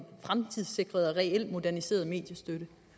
fremtidssikret og reelt moderniseret mediestøtte